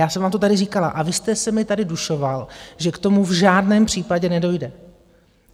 Já jsem vám to tady říkala a vy jste se mi tady dušoval, že k tomu v žádném případě nedojde.